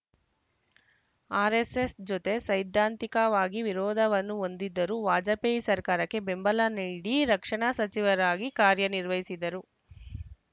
RSS ಜೋತೆ ಸೈದ್ಧಾಂತಿಕವಾಗಿ ವಿರೋಧವನ್ನು ಹೊಂದಿದ್ದರೂ ವಾಜಪೇಯಿ ಸರ್ಕಾರಕ್ಕೆ ಬೆಂಬಲ ನೀಡಿ ರಕ್ಷಣಾ ಸಚಿವರಾಗಿ ಕಾರ್ಯ ನಿರ್ವಹಿಸಿದರು